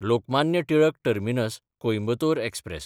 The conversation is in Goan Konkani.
लोकमान्य टिळक टर्मिनस–कोयंबतोर एक्सप्रॅस